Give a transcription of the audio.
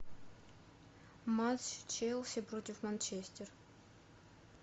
матч челси против манчестер